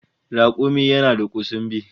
Rakumi yana da kusumbi